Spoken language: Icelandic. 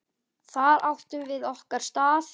Þar áttum við okkar stað.